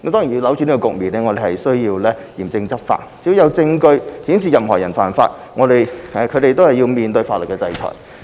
要扭轉這個局面，我們須嚴正執法，只要有證據顯示任何人犯法，都要面對法律制裁。